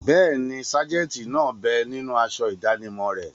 Bẹ́ẹ̀ni, sájẹ̀ntì náà bẹ ninú aṣọ ìdánimọ̀ rẹ̀